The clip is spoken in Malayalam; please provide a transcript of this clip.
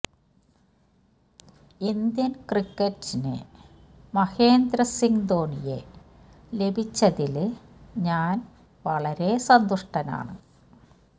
ഇന്ത്യന് ക്രിക്കറ്റിന് മഹേന്ദ്ര സിങ് ധോനിയെ ലഭിച്ചതില് ഞാന് വളരെ സന്തുഷ്ടനാണ്